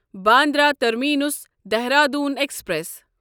Bandra Terminus Dehradun express